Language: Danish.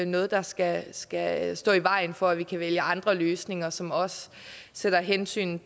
noget der skal skal stå i vejen for at vi kan vælge andre løsninger som også sætter hensynet